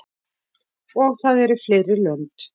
Og það eru fleiri lönd.